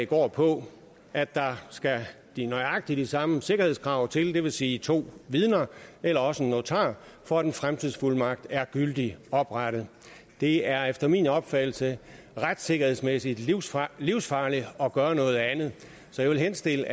går på at der skal nøjagtig de samme sikkerhedskrav til det vil sige to vidner eller også en notar for at en fremtidsfuldmagt er gyldigt oprettet det er efter min opfattelse retssikkerhedsmæssigt livsfarligt livsfarligt at gøre noget andet så jeg vil henstille